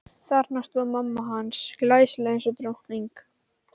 Þarna stóð mamma hans, glæsileg eins og drottning.